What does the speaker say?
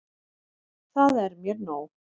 Það er mér nóg.